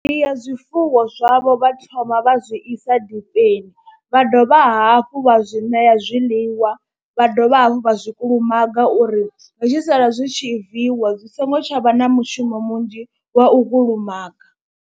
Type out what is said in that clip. Ndi ya zwifuwo zwavho vha thoma vha zwi isa dipeni, vha dovha hafhu vha zwi ṋea zwiḽiwa, vha dovha hafhu vha zwi kulumaga uri zwi tshi sala zwi tshi viiwa zwi songo tsha vha na mushumo munzhi wa u kulumaga.